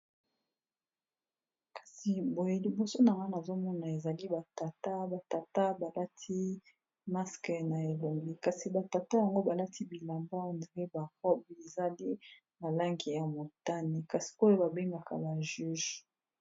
kasi boye liboso na wana azomona ezali batata batata balati maske na elombi kasi batata yango balati bilamba ondre barobi ezali malangi ya motani kasi koyo babengaka ba juge